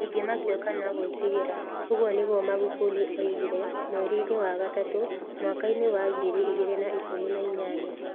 Ndingĩmakio kana ngwĩtigĩra", ũguo nĩguo Magufuli oigire mweri-inĩ wa gatatũ mwakainĩ wa ngiri igĩrĩ na ikũmi na inyanya.